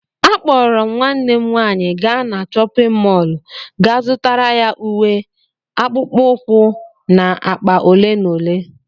Akpọrọ m nwanne m nwanyị gaa na chọpịn mọọlụ ga zụtara ya uwe, akpụkpọ ụkwụ na akpa ole na ole.